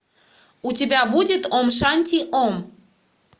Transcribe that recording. у тебя будет ом шанти ом